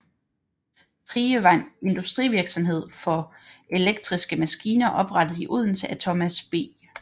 Thrige var en industrivirksomhed for elektriske maskiner oprettet i Odense af Thomas B